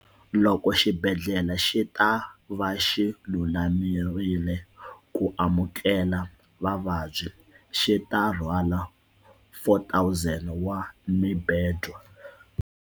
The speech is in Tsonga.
Loko xibedhlele xi ta va xi lulamerile ku amukela vavabyi, xi ta rhwala 4 000 wa mibedwa.